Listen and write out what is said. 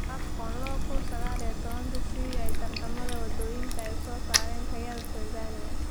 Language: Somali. AFCON 2019: Sida tartamada waddooyinka ay u soo saaraan tayada Tansaaniya